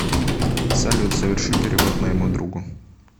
салют соверши перевод моему другу